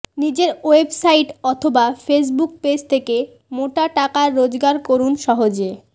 নিজের ওয়েবসাইট অথবা Facebook page থেকে মোটা টাকা রোজগার করুন সহজে